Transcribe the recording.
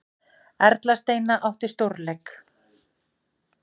Erla Steina átti stórleik